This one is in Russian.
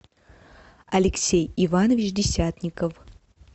алексей иванович десятников